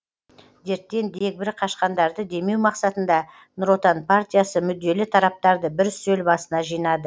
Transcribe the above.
дерттен дегбірі қашқандарды демеу мақсатында нұр отан партиясы мүдделі тараптарды бір үстел басына жинады